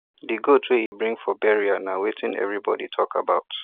the goat wey e bring for burial na wetin everybody talk about